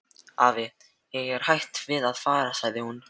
Afi, ég er hætt við að fara sagði hún.